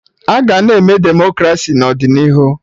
Aga na-eme Demokraci n'ọdịnihu